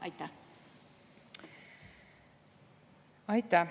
Aitäh!